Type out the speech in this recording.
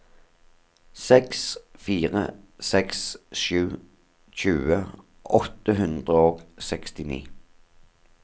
seks fire seks sju tjue åtte hundre og sekstini